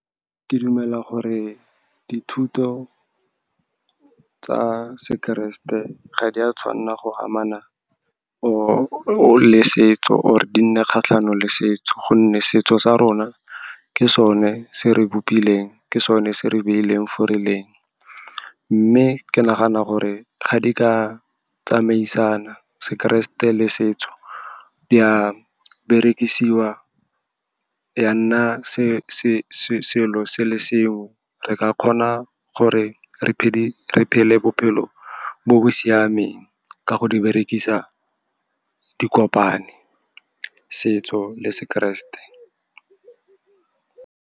Ke dumela gore dithuto tsa sekeresete ga di a tshwanela go amana le setso, or-e di nne kgatlhanong le setso, gonne setso sa rona ke sone se re bopileng, ke sone se re beileng fo releng. Mme ke nagana gore fa di ka tsamaisana, sekeresete le setso di a berekisiwa, ya nna selo se le seo re ka kgona gore re phele bophelo bo siameng ka go di berekisa, di kopane setso le sekeresete.